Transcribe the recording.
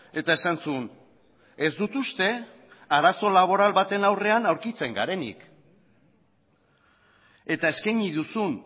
eta esan zuen ez dut uste arazo laboral baten aurrean aurkitzen garenik eta eskaini duzun